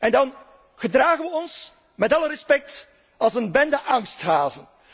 niet. En dan gedragen we ons met alle respect als een bende angsthazen.